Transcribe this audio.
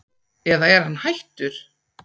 eða er hann hættur?